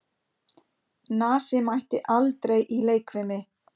Nasi mætti aldrei í leikfimi.